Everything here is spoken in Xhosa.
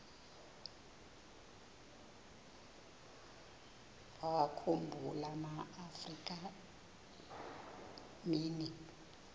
wawakhumbul amaafrika mini